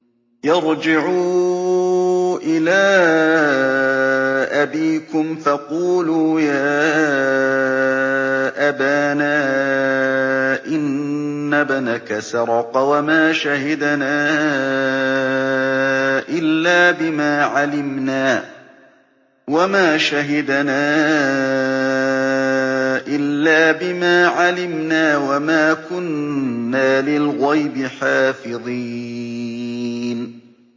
ارْجِعُوا إِلَىٰ أَبِيكُمْ فَقُولُوا يَا أَبَانَا إِنَّ ابْنَكَ سَرَقَ وَمَا شَهِدْنَا إِلَّا بِمَا عَلِمْنَا وَمَا كُنَّا لِلْغَيْبِ حَافِظِينَ